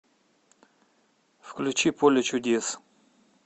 включи поле чудес